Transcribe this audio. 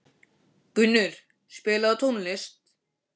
Gunnur, spilaðu tónlist.